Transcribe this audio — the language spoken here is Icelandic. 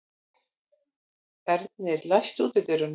Ernir, læstu útidyrunum.